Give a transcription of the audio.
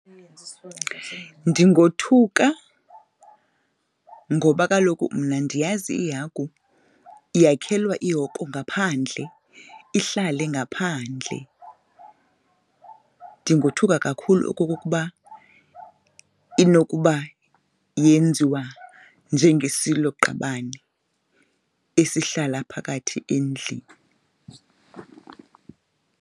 Ndingothuka ngoba kaloku mna ndiyazi ihagu yakhwela ihoko ngaphandle ihlale ngaphandle. Ndingothuka kakhulu okokuba inokuba yenziwa njengesiloqabane esihlala phakathi endlini.